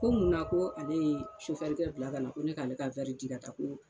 Ko mun na ko ale ye sofɛrikɛ bila ka na ko ne k'ale ka di ka ta ko.